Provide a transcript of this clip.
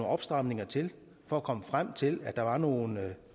opstramninger til for at komme frem til at der var nogle